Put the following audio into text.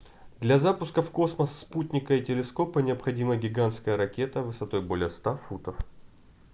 для запуска в космос спутника или телескопа необходима гигантская ракета высотой более 100 футов